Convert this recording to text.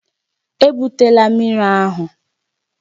Ebutela mmiri ahụ!